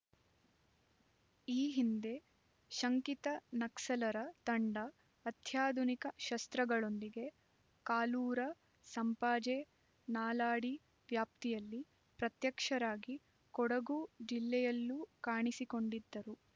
ಈ ಹಿಂದೆ ಶಂಕಿತ ನಕ್ಸಲರ ತಂಡ ಅತ್ಯಾಧುನಿಕ ಶಸ್ತ್ರಗಳೊಂದಿಗೆ ಕಾಲೂರು ಸಂಪಾಜೆ ನಾಲಾಡಿ ವ್ಯಾಪ್ತಿಯಲ್ಲಿ ಪ್ರತ್ಯಕ್ಷರಾಗಿ ಕೊಡಗು ಜಿಲ್ಲೆಯಲ್ಲೂ ಕಾಣಿಸಿಕೊಂಡಿದ್ದರು